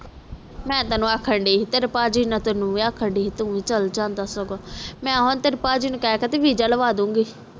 ਮੈਂ ਤੈਨੂੰ ਆਖਣ ਦੈ ਆ ਤੇਰੇ ਭਾਜੀ ਨੂੰ ਵੀ ਆਖਣ ਡਾਇਉ ਆ ਤੇਰੇ ਭਾਜੀ ਨਾਲ ਤੂੰ ਵੀ ਚਲ ਜਾਂਦਾ ਸਗੋਂ ਮੈਂ ਤੇਰੇ ਭਾਜੀ ਨੂੰ ਆਖ ਕੇ ਵੀਸਾ ਲਾਵਾਂ ਦੂਜੇ